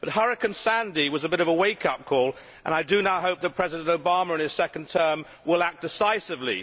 But Hurricane Sandy was a bit of a wake up call, and I do now hope that President Obama in his second term will act decisively.